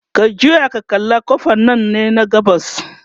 ka juya ka kalla ƙofan Nan ne gabas